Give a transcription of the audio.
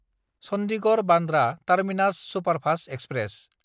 चन्दिगड़–बान्द्रा terminus superfast express